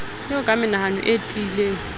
eo ka menahano e tiileng